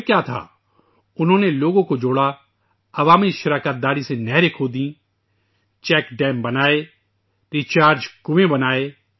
پھر کیا تھا ، انہوں نے لوگوں کو جوڑا ، عوامی شراکت سے نہریں کھودیں ، چیک ڈیم بنائے ، ریچارج کنویں بنائے